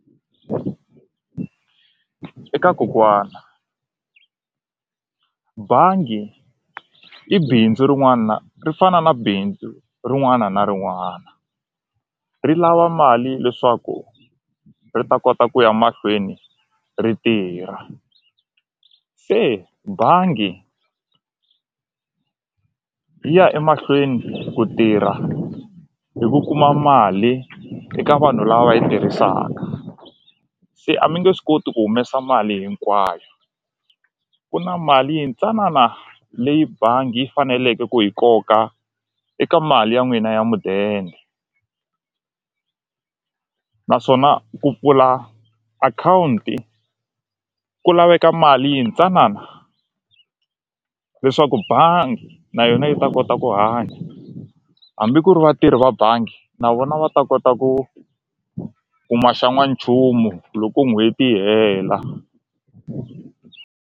Eka kokwana bangi i bindzu rin'wana ri fana na bindzu rin'wana na rin'wana ri lava mali leswaku ri ta kota ku ya mahlweni ri tirha se bangi yi ya emahlweni ku tirha hi ku kuma mali eka vanhu lava yi tirhisaka se a mi nge swi koti ku humesa mali hinkwayo ku na mali yintsanana leyi bangi yi faneleke ku yi koka eka mali ya n'wina ya mudende naswona ku pfula akhawunti ku laveka mali yintsanana leswaku bangi na yona yi ta kota ku hanya hambi ku ri vatirhi va bangi na vona va ta kota ku kuma xa n'wanchumu loko n'hweti yi hela.